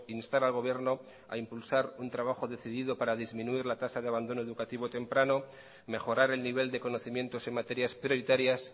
instar al gobierno a impulsar un trabajo decidido para disminuir la tasa de abandono educativo temprano mejorar el nivel de conocimientos en materias prioritarias